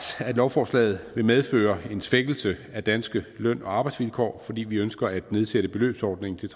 at lovforslaget vil medføre en svækkelse af de danske løn og arbejdsvilkår fordi vi ønsker at nedsætte beløbsordningen til